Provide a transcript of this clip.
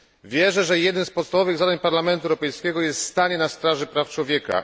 Wierzę, że jednym z podstawowych zadań Parlamentu Europejskiego jest stanie na straży praw człowieka.